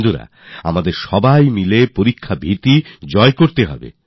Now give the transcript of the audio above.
বন্ধুরা আমাদের সবাই মিলে পরীক্ষার ভীতিকে দূর করতে হবে